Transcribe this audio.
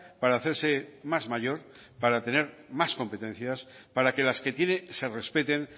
para hacerse más mayor para tener más competencias para que las que tiene se respeten